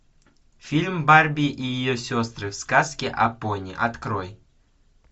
фильм барби и ее сестры в сказке о пони открой